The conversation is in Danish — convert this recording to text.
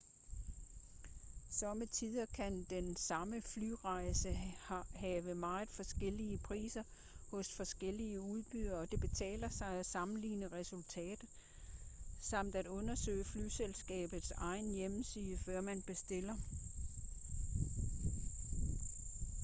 sommetider kan den samme flyrejse have meget forskellige priser hos forskellige udbydere og det betaler sig at sammenligne resultater samt at undersøge flyselskabets egen hjemmeside før man bestiller